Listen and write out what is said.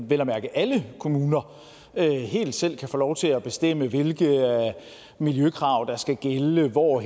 vel at mærke alle kommuner helt selv kan få lov til at bestemme hvilke miljøkrav der skal gælde hvor